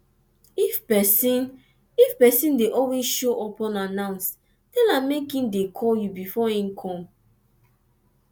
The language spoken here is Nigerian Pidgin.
if person if person de always show up unannounced tell am make im de call you before im come